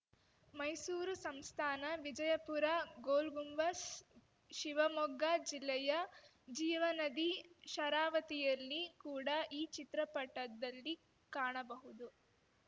ಮೈಸೂರು ಸಂಸ್ಥಾನ ವಿಜಯಪುರ ಗೋಲಗುಂಬಜ್‌ ಶಿವಮೊಗ್ಗ ಜಿಲ್ಲೆಯ ಜೀವನದಿ ಶರಾವತಿಯಲ್ಲಿ ಕೂಡ ಈ ಚಿತ್ರಪಟದಲ್ಲಿ ಕಾಣಬಹುದು